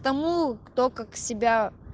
тому кто как себя